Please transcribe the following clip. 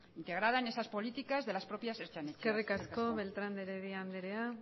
integrada en esas políticas de las propias eskerrik asko beltrán de heredia anderea